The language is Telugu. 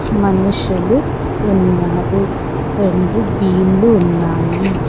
మనుషులు ఉన్నారు రెండు బీన్లు ఉన్నాయి.